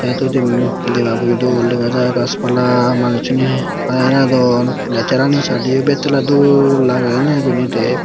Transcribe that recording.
teytudim debaboyo dol dega jaai gaaj pala manussuney hara hilodon nesarani sadeyo betala dol lagey eney ebeni dey.